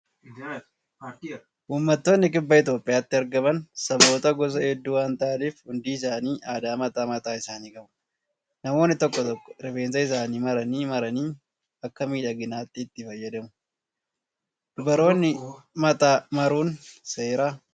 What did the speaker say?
Uummattoonni kibba Itoophiyaatti argaman saboota gosa hedduu waan ta'aniif hundi isaanii aadaa mataa mataa isaanii qabu. Namoonni tokko tokko rifeensa isaanii maranii maranii akka miidhaginaatti itti fayyadamu. Dubaroonni mataa maruun seeraa?